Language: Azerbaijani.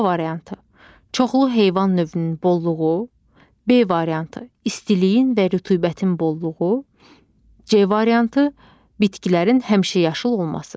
A variantı: Çoxlu heyvan növünün bolluğu, B variantı: İstiliyin və rütubətin bolluğu, C variantı: Bitkilərin həmişəyaşıl olması.